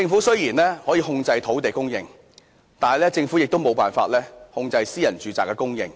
雖然政府可以控制土地供應，但政府沒有辦法控制私人住宅的供應。